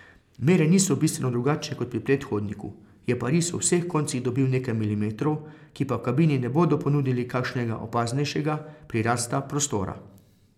Mere niso bistveno drugačne kot pri predhodniku, je pa riso v vseh koncih dobil nekaj milimetrov, ki pa v kabini ne bodo ponudili kakšnega opaznejšega prirasta prostora.